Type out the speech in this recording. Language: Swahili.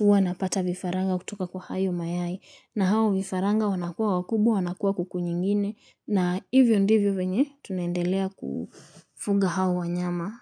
wana pata vifaranga kutoka kwa hayo mayai na hao vifaranga wanakuwa wakubwa wanakuwa kuku nyingine na hivyo ndivyo venye tunaendelea kufuga hao wanyama.